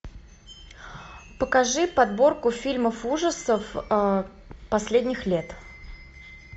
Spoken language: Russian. покажи подборку фильмов ужасов последних лет